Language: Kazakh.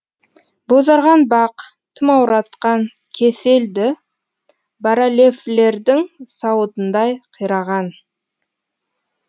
бозарған бақ тұмауратқан кесел ді баральефлердің сауытындай қираған